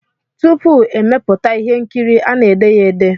Tupu e mepụta ihe nkiri a na-ede ya ede